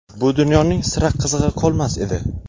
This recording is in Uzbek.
bu dunyoning sira qizig‘i qolmas edi.